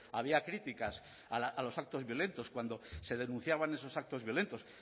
había críticas a los actos violentos cuando se denunciaban esos actos violentos